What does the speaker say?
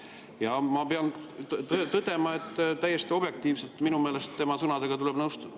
Ja ma pean tõdema, et täiesti objektiivselt tuleb minu meelest tema sõnadega nõustuda.